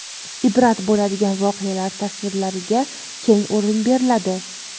ibrat bo‘ladigan voqealar tasvirlariga keng o‘rin beriladi.